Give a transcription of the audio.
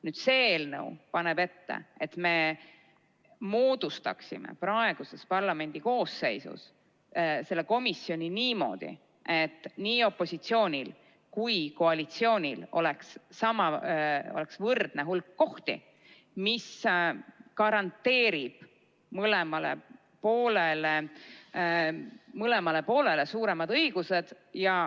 Nüüd see eelnõu paneb ette, et me moodustaksime praeguses parlamendikoosseisus selle komisjoni niimoodi, et nii opositsioonil kui ka koalitsioonil oleks võrdne hulk kohti, mis garanteerib mõlemale poolele suuremad õigused.